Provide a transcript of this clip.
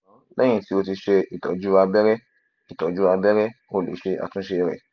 ṣugbọn lẹhin ti o ti ṣe itọju abẹrẹ itọju abẹrẹ o le ṣe atunṣe rẹ